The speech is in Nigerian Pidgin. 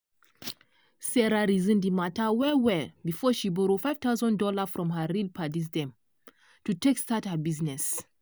sarah reason di matter well well before she borrow five thousand dollars from her real paddies dem to take start her business.